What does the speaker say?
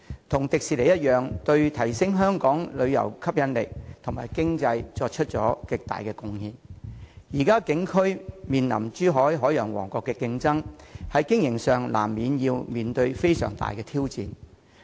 海洋公園同樣對提升本港旅遊吸引力及經濟作出了極大貢獻，但由於它的景區現正面臨珠海長隆海洋王國的競爭，因此在經營上須面對極大挑戰。